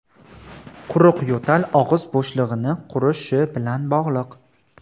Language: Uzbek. Quruq yo‘tal og‘iz bo‘shlig‘ini qurishi bilan bog‘liq.